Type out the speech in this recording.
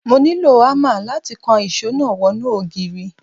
Mo nílò ámà láti kan ìṣó náà wọnú ògiri.